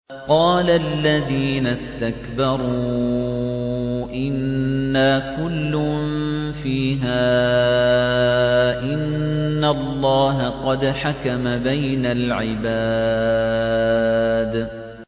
قَالَ الَّذِينَ اسْتَكْبَرُوا إِنَّا كُلٌّ فِيهَا إِنَّ اللَّهَ قَدْ حَكَمَ بَيْنَ الْعِبَادِ